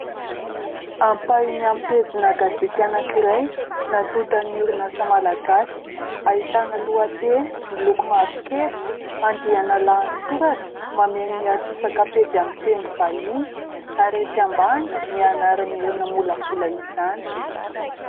Ampahany amin'ny pejina gazety anankiray natonta ny orinasa malagasy. Ahitana lohateny miloko mavokely, andiana lahatsoratra mameno antsasaka pejy amin'ny teny vahiny ary ary etsy ambany ny anaran'ireo namolavola izany.